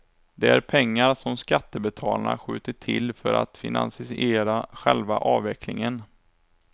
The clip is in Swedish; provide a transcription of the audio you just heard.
Det är pengar som skattebetalarna skjutit till för att finansiera själva avvecklingen.